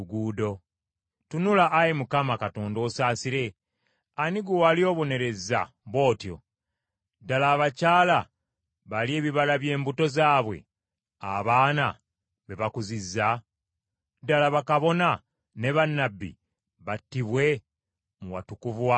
“Tunula, Ayi Mukama Katonda osaasire! Ani gwe wali obonerezza bw’otyo? Ddala, abakyala balye ebibala by’embuto zaabwe, abaana be bakuzizza? Ddala, bakabona ne bannabbi battibwe mu watukuvu wa Mukama?